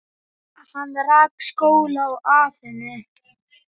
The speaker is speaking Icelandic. Hann rak skóla í Aþenu.